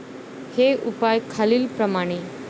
हे उपाय खालीलप्रमाणे.